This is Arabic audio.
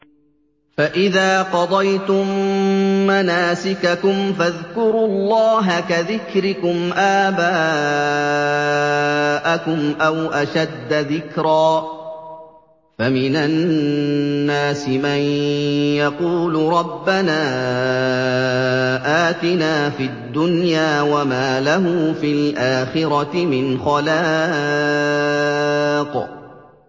فَإِذَا قَضَيْتُم مَّنَاسِكَكُمْ فَاذْكُرُوا اللَّهَ كَذِكْرِكُمْ آبَاءَكُمْ أَوْ أَشَدَّ ذِكْرًا ۗ فَمِنَ النَّاسِ مَن يَقُولُ رَبَّنَا آتِنَا فِي الدُّنْيَا وَمَا لَهُ فِي الْآخِرَةِ مِنْ خَلَاقٍ